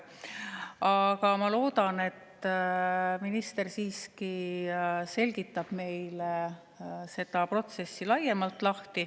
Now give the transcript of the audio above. Aga ma loodan, et minister siiski selgitab meile seda protsessi laiemalt.